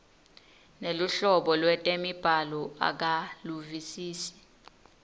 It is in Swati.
neluhlobo lwetemibhalo akaluvisisi